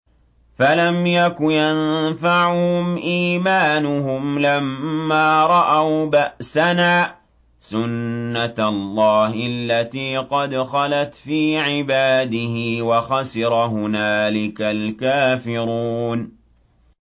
فَلَمْ يَكُ يَنفَعُهُمْ إِيمَانُهُمْ لَمَّا رَأَوْا بَأْسَنَا ۖ سُنَّتَ اللَّهِ الَّتِي قَدْ خَلَتْ فِي عِبَادِهِ ۖ وَخَسِرَ هُنَالِكَ الْكَافِرُونَ